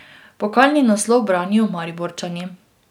Pokalni naslov branijo Mariborčani.